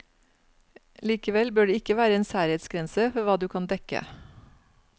Likevel bør det ikke være en særhetsgrense for hva du kan dekke.